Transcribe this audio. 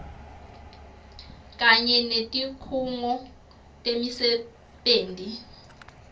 kanye netikhungo temisebenti